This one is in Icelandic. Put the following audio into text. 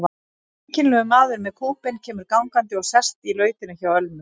Einkennilegur maður með kúbein kemur gangandi og sest í lautina hjá Ölmu.